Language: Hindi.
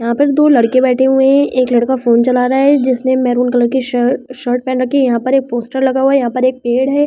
यहाँ पर दो लड़के बैठे हुए है एक लड़का फ़ोन चला रहा है जिसने महरूम कलर की शर्ट पहन रखी है यहाँ पर एक पोस्टर लगा हुआ है यहाँ पर एक पेड़ है यहाँ पर--